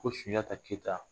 Ko sunjata keyita